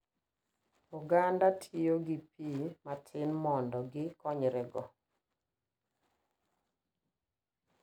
Oganda tiyo gi pii matin mando gi konyre go.